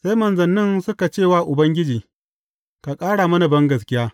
Sai manzannin suka ce wa Ubangiji, Ka ƙara mana bangaskiya!